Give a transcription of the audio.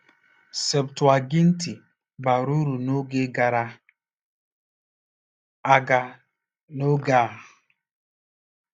“Septụaginti”—bara uru n’oge gara aga na n’oge a.